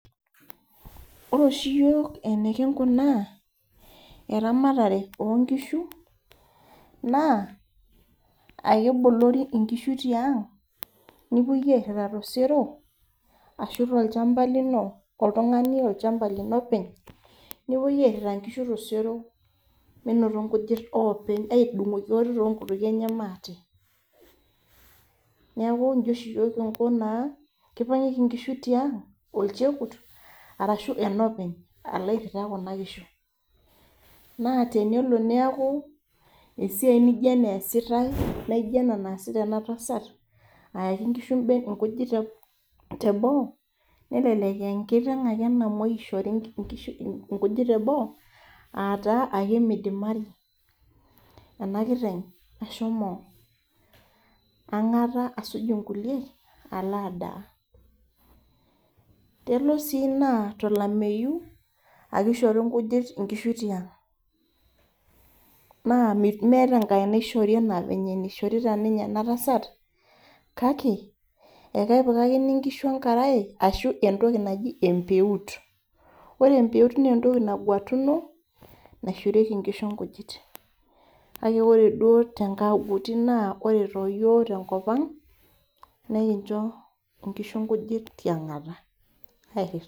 Ore oshi iyiok enekingunaa eramatare oongishu naa akebolori inkishu tiang nepuoi arhita tosero ashu tolchamba lino oltungani openy metudungoki ate toongutukie niaku kipangieki ingishu tiang olchekut ashu enopeny alo arhita kuna kishu naa tenelo niaku esiai naijo ena easitai naa aayaki ngujit teboo nelelek engiteng ake namuoi ishori ngujit teboo aataa aimidimari ena kiteng ashomo angata asuj ingilie aalo adaa elo sii naa tolameyu ake eishori ngishu ngijit tiang naa ekepikakini nkishu entoki naji empeut naa ore duo too yiok tenkopang nekinjo ngishu ngujit tiangata